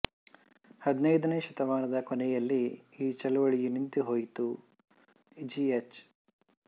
ಹದಿನೈದನೆಯ ಶತಮಾನದ ಕೊನೆಯಲ್ಲಿ ಈ ಚಳವಳಿ ನಿಂತುಹೋಯಿತು ಜಿ ಎಚ್